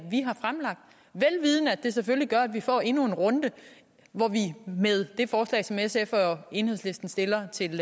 vi vidende at det selvfølgelig gør at vi får endnu en runde hvor vi med det forslag som sf og enhedslisten stiller til det